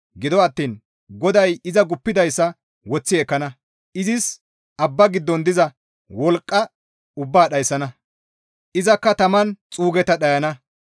Gido attiin GODAY iza guuppidayssa woththi ekkana; izis abba giddon diza wolqqa ubbaa dhayssana; izakka taman xuugetta dhayana.